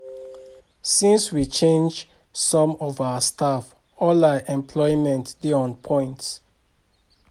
Since we change some of our staff all our equipment dey on point